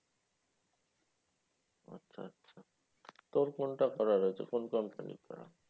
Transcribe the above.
আচ্ছা আচ্ছা তো কোনটা করা হয়েছে? কোন company করা?